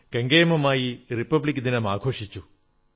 ഇന്നലെ നാം കെങ്കേമമായി റിപ്പബ്ലിക് ദിനം ആഘോഷിച്ചു